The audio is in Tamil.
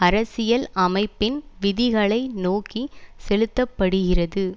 அரசியல் அமைப்பின் விதிகளை நோக்கி செலுத்த படுகிறது